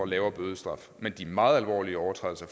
lavere bødestraf mens de meget alvorlige overtrædelser